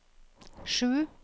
sju